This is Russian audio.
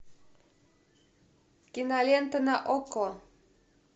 кинолента на окко